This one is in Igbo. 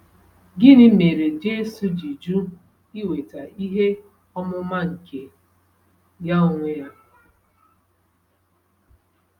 Gịnị mere Jesu ji jụ iweta ihe ọmụma nke ya onwe ya?